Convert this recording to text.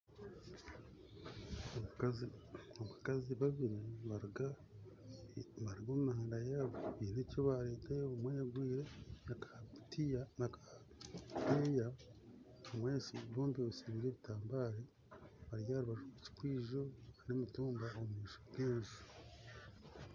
Abakazi babiiri nibaruga omu mihanda yaabo baine ekibareeta omwe ayengwire akakutiya omwe ayetsibire ebitabaare ari aharubaju rw'ekikwizo n'emitumba omu maisho g'enju